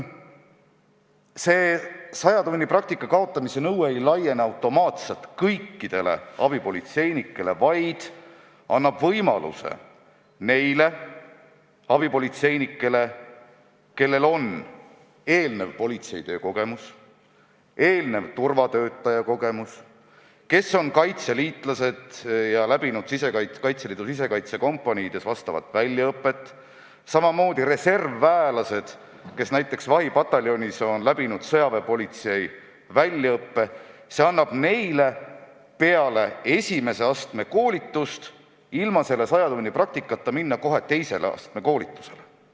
Saja tunni praktika kaotamise nõue ei laiene automaatselt kõikidele abipolitseinikele, vaid annab võimaluse neile abipolitseinikele, kellel on eelnev politseitöö või turvatöötaja kogemus või kes on kaitseliitlased ja läbinud Kaitseliidu sisekaitsekompaniides vastava väljaõppe või kes on reservväelased ja läbinud näiteks vahipataljonis sõjaväepolitsei väljaõppe, minna kohe peale esimese astme koolitust ilma seda sajatunnist praktikat läbimata edasi teise astme koolitusega.